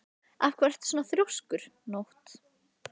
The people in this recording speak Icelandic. Af hverju ertu svona þrjóskur, Nótt?